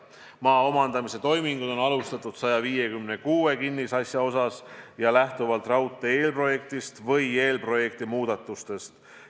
Maa omandamise toiminguid on alustatud 156 kinnisasja puhul ja lähtuvalt raudtee eelprojektist või eelprojekti muudatustest.